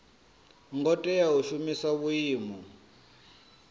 ngo tea u shumisa vhuimo